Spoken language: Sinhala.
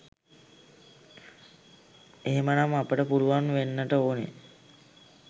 එහෙම නම් අපට පුළුවන් වෙන්නට ඕනෙ